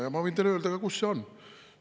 Ja ma võin teile öelda ka, kus see on.